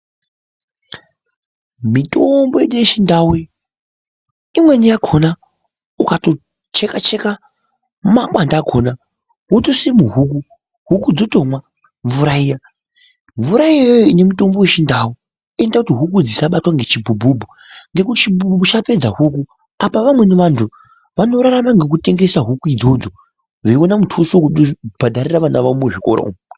Mitombo yedu yechintau, imweni yakhona ukatocheka cheka makwande akhona wotoise muhuku, huku dzotomwa mvura iya. Mvura iyoyo ine mutombo wechindau inoita kuti huku dzisabatwe ngechibhubhubhu, ngekuti chibhubhubhu chapedza huku. Apa vamweni vantu vanorarama ngekutengesa huku idzodzo vachiwana mutuso wokubhadharire vana vavo muzvikora umo.